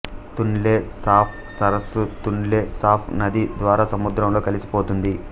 Tonle Sap సరస్సు Tonle Sap నది ద్వారా సముద్రంలో కలిసిపోతుంది